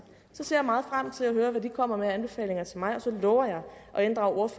så ser jeg meget frem til at høre hvad de kommer med af anbefalinger til mig og så lover jeg at inddrage